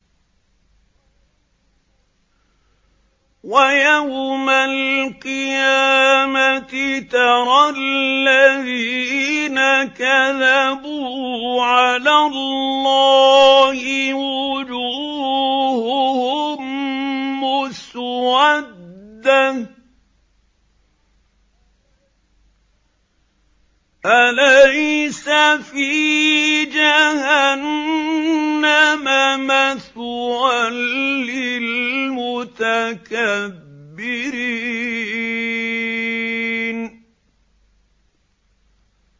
وَيَوْمَ الْقِيَامَةِ تَرَى الَّذِينَ كَذَبُوا عَلَى اللَّهِ وُجُوهُهُم مُّسْوَدَّةٌ ۚ أَلَيْسَ فِي جَهَنَّمَ مَثْوًى لِّلْمُتَكَبِّرِينَ